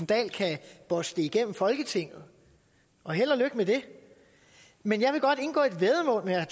dahl kan bosse det igennem folketinget og held og lykke med det men jeg vil godt indgå et væddemål med herre